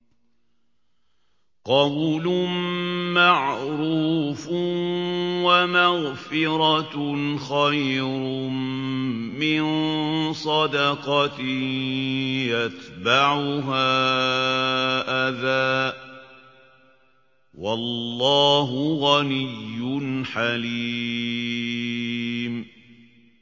۞ قَوْلٌ مَّعْرُوفٌ وَمَغْفِرَةٌ خَيْرٌ مِّن صَدَقَةٍ يَتْبَعُهَا أَذًى ۗ وَاللَّهُ غَنِيٌّ حَلِيمٌ